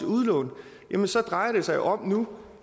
udlån drejer det sig om nu